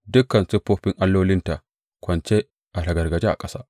Dukan siffofin allolinta kwance a ragargaje a ƙasa!’